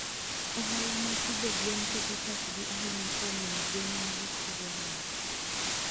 Ohala mag pidho gwen keto pachgi ahinya kuom miyo gwen magi chiwo ler.